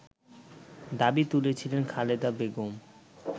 দাবি তুলেছিলেন খালেদা বেগম